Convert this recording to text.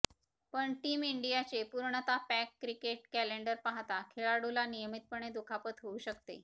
पण टीम इंडियाचे पूर्णतः पॅक क्रिकेट कॅलेंडर पाहता खेळाडूला नियमितपणे दुखापत होऊ शकते